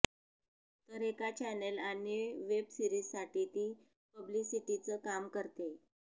तर एका चॅनेल आणि वेबसिरीजसाठी ती पब्लिसिटीचं काम करतेय